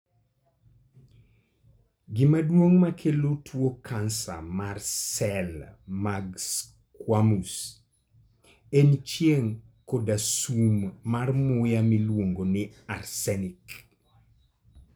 Gima duong' makelo tuo kansa mar sel mag squamous en chieng' koda sum mar muya miluongo ni arsenic.